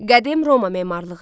Qədim Roma memarlığı.